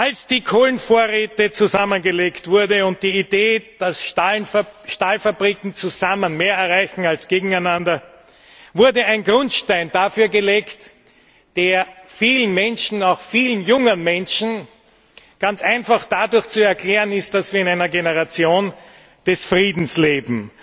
Als die Kohlenvorräte zusammengelegt wurden und die Idee geboren wurde, dass Stahlfabriken zusammen mehr erreichen als gegeneinander, wurde ein Grundstein dafür gelegt, der vielen, auch jungen Menschen ganz einfach dadurch zu erklären ist, dass wir in einer Generation des Friedens leben.